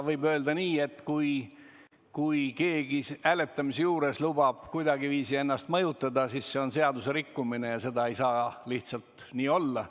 Võib öelda nii, et kui keegi lubab hääletamisel kuidagiviisi ennast mõjutada, siis see on seaduserikkumine ja seda lihtsalt ei tohi olla.